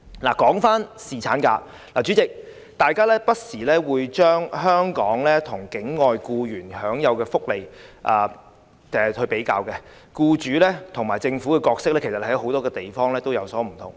說回侍產假，代理主席，大家會不時把香港與境外僱員享有的福利比較，僱主及政府的角色在很多地方其實也有所不同。